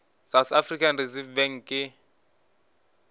south african reserve bank ke